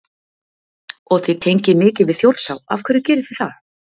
Og þið tengið mikið við Þjórsá, af hverju gerið þið það?